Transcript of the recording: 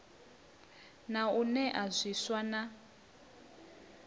na u nea zwiswa na